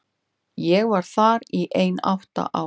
Ég var þar í ein átta ár.